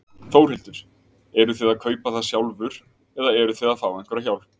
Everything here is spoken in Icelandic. Þórhildur: Eruð þið að kaupa það sjálfur eða eruð þið að fá einhverja hjálp?